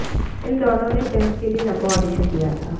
इन दोनों ने फिल्म के लिए लंबा ऑडिशन दिया था